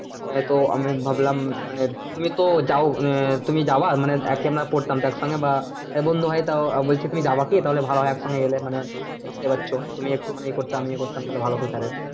হ্যাঁ তো আমি ভাবলাম মানে তুমি তো যাও আহ তুমি যাবে? মানে একই আমরা পড়তাম তো এক সঙ্গে বা আহ বন্ধু হয়ে তাও বলছি তুমি যাবে কি? তাহলো ভালো হয় এক সঙ্গে গেলে মানে বুঝতে পারছো তুমি একটু মানে ইয়ে করতে আমি ইয়ে করতাম তাহলে ভালো হতো sir এর